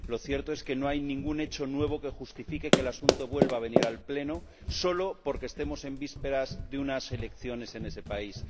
Lo cierto es que no hay ningún hecho nuevo que justifique que el asunto vuelva a venir al Pleno solo porque estemos en vísperas de unas elecciones en ese país.